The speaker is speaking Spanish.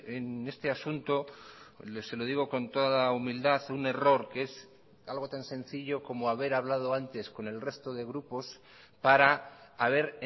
en este asunto se lo digo con toda humildad un error que es algo tan sencillo como haber hablado antes con el resto de grupos para haber